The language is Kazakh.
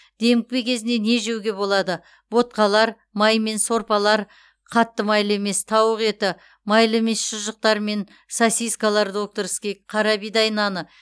демікпе кезінде не жеуге болады ботқалар маймен сорпалар қатты майлы емес тауқы еті майлы емес шұжықтар мен сосискалар докторский қарабидай наны